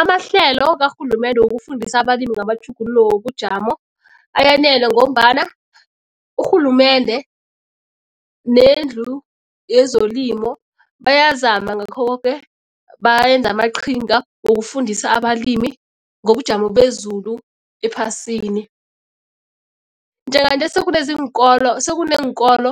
Amahlelo karhulumende wokufundisa abalimi ngamatjhuguluko wobujamo ayanela ngombana urhulumende nendlu yezelimo bayazama ngakho koke, bayenza amaqhinga wokufundisa abalimi ngobujamo bezulu ephasini. Njenganje sekuneenkolo